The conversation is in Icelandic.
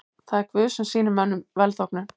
Það er Guð sem sýnir mönnum velþóknun.